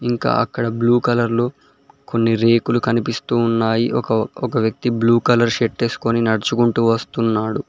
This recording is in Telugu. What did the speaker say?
ఇంకా అక్కడ బ్లూ కలర్లో కొన్ని రేకులు కనిపిస్తూ ఉన్నాయి ఒక ఒక వ్యక్తి బ్లూ కలర్ షర్ట్ ఎస్కొని నడ్చుకుంటూ వస్తున్నాడు.